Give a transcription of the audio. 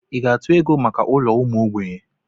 Ị ga-atụ ego maka ụlọ ụmụ ogbenye?